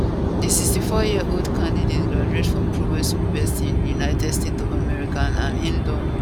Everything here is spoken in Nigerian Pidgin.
di 64yearold candidate gradute from prowess university in united states of america and im don